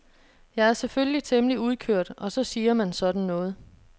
Jeg er selvfølgelig temmelig udkørt og så siger man sådan noget.